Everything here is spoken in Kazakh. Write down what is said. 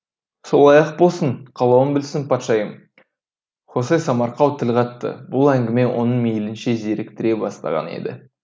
солай ақ болсын қалауың білсін патшайым хосе самарқау тіл қатты бұл әңгіме оның мейлінше зеріктіре бастаған еді